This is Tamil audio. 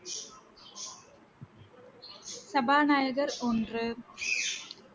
சபாநாயகர் ஒன்று